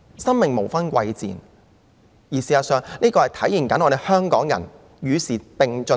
生命無分貴賤，事實上，這亦可體現香港人是與時並進的。